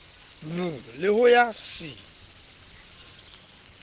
b le ho ya c